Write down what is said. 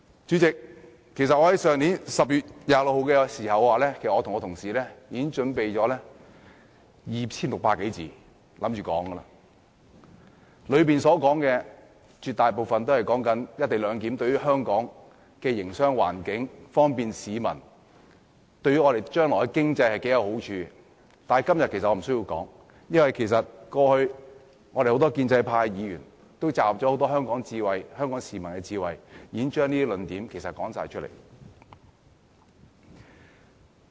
主席，在去年10月26日的會議上，我和同事其實已準備 2,600 多字的發言稿，準備在會上發言，內容絕大部分均有關"一地兩檢"安排對香港的營商環境、在方便市民方面，以及對香港將來的經濟會帶來多少好處，但今天我其實無需要再說，因為我們很多建制派議員過去已集合很多香港市民的智慧，已把這些論點全部說出來。